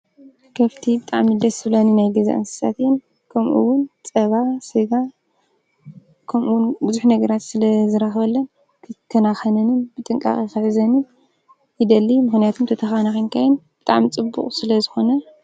ከፍቲ ብጣዕሚ ደስ ዝብላኒ ናይ ገዛ እንስሳት እየን፣ ከምኡ እዉን ፀባ፣ ስጋ ከምኡ እውን ብዙሕ ነገራት ስለ ዝረክበለን ክከናከነን ብጥንቃቐ ክሕዘንን ይደሊ። ምኽንያቱ ተተኸናኺንካየን ብጣዕሚ ጽቡቕ ስለዝኮነ።